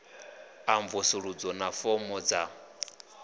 a mvusuludzo na fomo dza